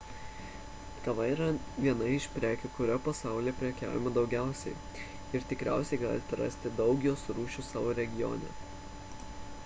kava yra viena iš prekių kuria pasaulyje prekiaujama daugiausiai ir tikriausiai galite rasti daug jos rūšių savo regione